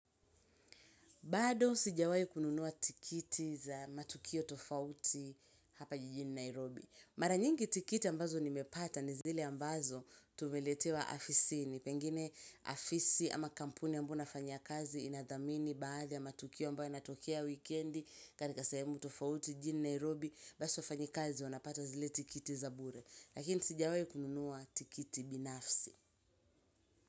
Bado sijawai kununua tikiti za matukio tofauti hapa jijini Nairobi. Mara nyingi tikiti ambazo nimepata ni zile ambazo tumeletewa afisini pengine afisi ama kampuni ambayo nafanya kazi inadhamini baadhi ya matukio ambayo yanatokea wikendi. Katika sahemu tofauti jini Nairobi basi wafanyikazi wanapata zile tikiti za bure. Lakini sijawai kununua tikiti binafsi.